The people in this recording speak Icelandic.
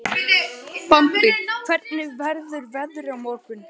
Bambi, hvernig verður veðrið á morgun?